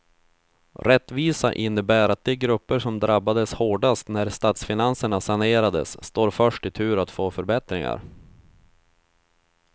Rättvisa innebär att de grupper som drabbades hårdast när statsfinanserna sanerades står först i tur att få förbättringar.